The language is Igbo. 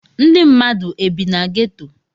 Ndi mmadu e bi na ghetto